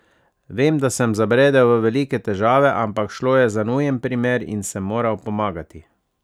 Vem, da sem zabredel v velike težave, ampak šlo je za nujen primer in sem moral pomagati.